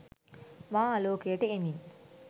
මා ආලෝකයට එමින්